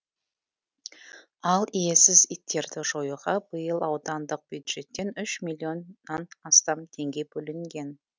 ал иесіз иттерді жоюға биыл аудандық бюджеттен үш миллионнан астам теңге бөлінген